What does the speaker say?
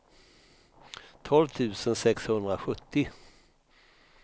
tolv tusen sexhundrasjuttio